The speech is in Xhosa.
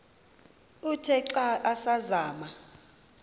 uthe xa asazama